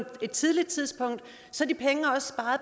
et tidligt tidspunkt så